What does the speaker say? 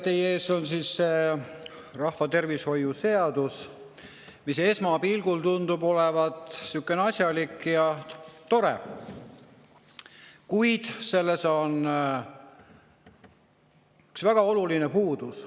Teie ees on rahvatervishoiu seadus, mis esmapilgul tundub olevat selline asjalik ja tore, kuid sellel on üks väga oluline puudus.